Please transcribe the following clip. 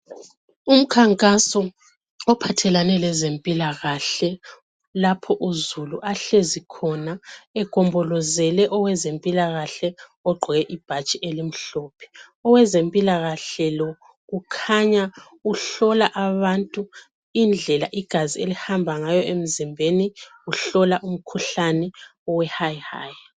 Umkhankaso ophathelane lezempilakahle lapho uzulu ahlezi khona egombolozele owezempilakahle ogqoke ibhatshi elimhlophe. Owezempilakahle lo kukhanya uhlola abantu indlela igazi elihamba ngayo emzimbeni, uhlola umkhuhlane we"high high".